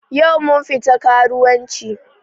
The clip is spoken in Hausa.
Yau mun fita karuwanci